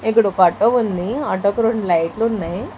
ఇక్కడ ఒక ఆటో ఉంది ఆటోకి రెండు లైట్లు ఉన్నాయి.